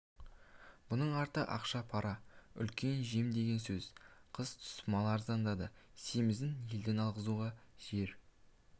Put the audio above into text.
бұның арты ақша пара үлкен-үлкен жем деген сөз қыс түсіп мал арзандады семізін елден алғызуға жер